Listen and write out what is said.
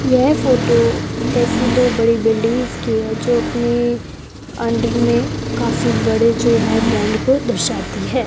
यह फोटो एसी दो बड़ी बिल्डिंग्स की है जो अपनी अंडर में काफी बड़े जो है ब्रैंड को दर्शाती है।